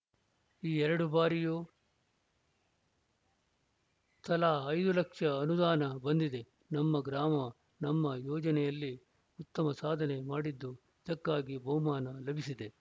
ಎರಡು ಬಾರಿಯೂ ತಲಾ ಐದು ಲಕ್ಷ ಅನುದಾನ ಬಂದಿದೆನಮ್ಮ ಗ್ರಾಮ ನಮ್ಮ ಯೋಜನೆಯಲ್ಲಿ ಉತ್ತಮ ಸಾಧನೆ ಮಾಡಿದ್ದು ಇದಕ್ಕಾಗಿ ಬಹುಮಾನ ಲಭಿಸಿದೆ